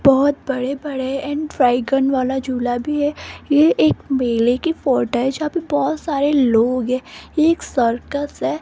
बहोत बड़े बड़े एंड ड्राईगंन वाला झूला भी है ये एक मेले की फोटो है जहाँ पे बहोत सारे लोग हैं ये एक सर्कस है।